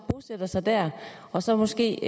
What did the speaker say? bosætter sig der og så måske